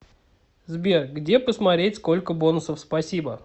сбер где посмотреть сколько бонусов спасибо